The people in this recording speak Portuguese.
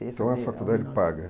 Então a faculdade paga?